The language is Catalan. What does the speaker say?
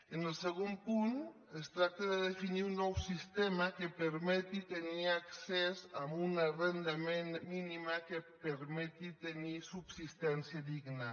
en el segon punt es tracta de definir un nou sistema que permeti tenir accés a una renda mínima que permeti tenir subsistència digna